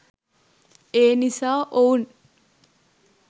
ඒනිසා ඔවුන්